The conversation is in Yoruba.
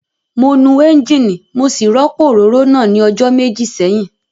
Mo nu ẹ́ńjíìnì mo sì rọ́pò òróró náà ní ọjọ́ méjì sẹ́yìn